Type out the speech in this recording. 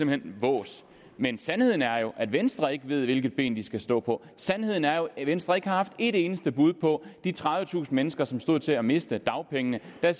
hen vås men sandheden er jo at venstre ikke ved hvilket ben de skal stå på sandheden er jo at venstre ikke har haft ét eneste bud på de tredivetusind mennesker som stod til at miste dagpengene der